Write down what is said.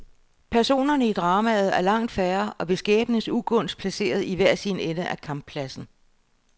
Personerne i dramet er langt færre og ved skæbnens ugunst placeret i hver sin ende af kamppladsen.